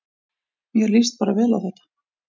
Mér líst bara vel á þetta